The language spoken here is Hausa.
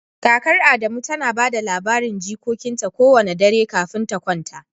Kakar Adamu tana ba da labarin jikokinta kowane dare kafin ta kwanta